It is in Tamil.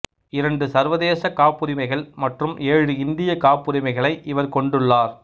இரண்டு சர்வதேச காப்புரிமைகள் மற்றும் ஏழு இந்தியக் காப்புரிமைகளை இவர் கொண்டுள்ளார்